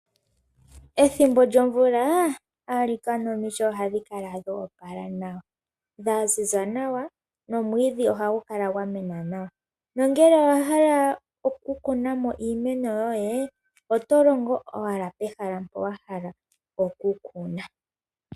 Ethimbo lyomvula alikana omiti ohadhi ka kala dho opala nawa dhaziza nawa nomwiidhi ohagu kala gwamena nawa, nongele owahala oku kunamo iimeno yoye oto longo owala pehala mpoka wahala okukuna.